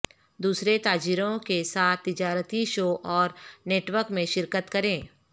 دوسرے تاجروں کے ساتھ تجارتی شو اور نیٹ ورک میں شرکت کریں